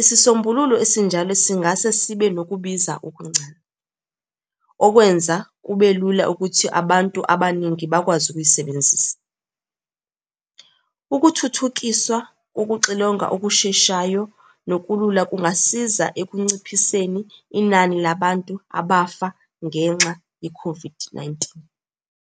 isisombululo esinjalo singase sibe nokubiza okuncane okwenza kube lula ukuthi abantu abaningi bakwazi ukuyisebenzisa. Ukuthuthukiswa, ukuxilonga okusheshayo, nokulula, kungasiza ekunciphiseni inani labantu abafa ngenxa ye-COVID-19.